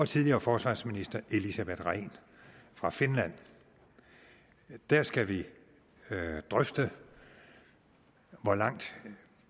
tidligere forsvarsminister elisabeth rehn fra finland og der skal vi drøfte hvor langt